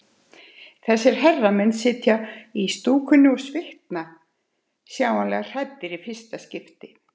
Þessir herramenn sitja í stúkunni og svitna, sjáanlega hræddir í fyrsta skipti.